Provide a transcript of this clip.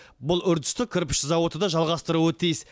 бұл үрдісті кірпіш зауыты да жалғастыруы тиіс